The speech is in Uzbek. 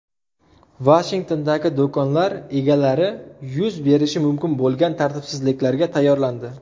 Vashingtondagi do‘konlar egalari yuz berishi mumkin bo‘lgan tartibsizliklarga tayyorlandi .